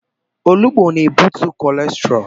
Olugbu na-ebutu kọlesterọọl.